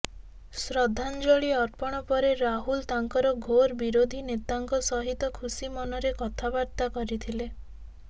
ଶ୍ରଦ୍ଧାଞ୍ଜଳି ଅର୍ପଣ ପରେ ରାହୁଲ ତାଙ୍କର ଘୋର ବିରୋଧୀ ନେତାଙ୍କ ସହିତ ଖୁସି ମନରେ କଥାବାର୍ତ୍ତା କରିଥିଲେ